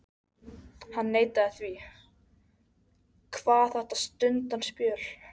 Hann neitaði því, kvað þetta stuttan spöl